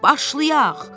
Başlayaq!